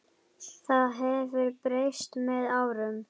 Það hafi breyst með árunum.